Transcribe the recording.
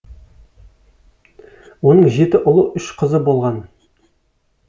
оның жеті ұлы үш қызы болған